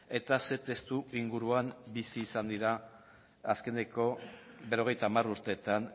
eta ze testuinguruan bizi izan dira azkeneko berrogeita hamar urteetan